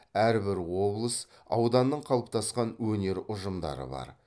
әрбір облыс ауданның қалыптасқан өнер ұжымдары бар